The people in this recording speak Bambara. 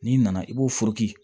N'i nana i b'o